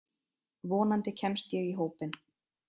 Vonandi kemst ég í hópinn.